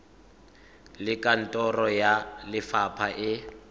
le kantoro ya lefapha e